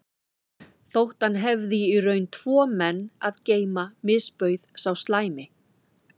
Þótt hann hefði í raun tvo menn að geyma misbauð sá slæmi